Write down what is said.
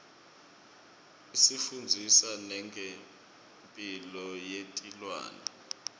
isifundzisa nengemphilo yetilwane